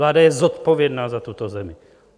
Vláda je zodpovědná za tuto zemi.